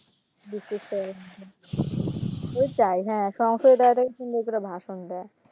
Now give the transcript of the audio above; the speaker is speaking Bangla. বিশ্বাস তো হয় না . সংসদ এ যারা থাকে সুন্দর করে ভাষণ দেয়